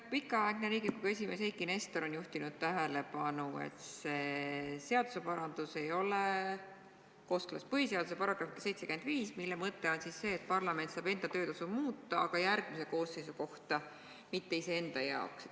Pikaaegne Riigikogu esimees Eiki Nestor on juhtinud tähelepanu, et see seaduseparandus ei ole kooskõlas põhiseaduse §-ga 75, mille mõte on see, et parlament saab parlamendiliikmete töötasu muuta, aga järgmise koosseisu, mitte iseenda jaoks.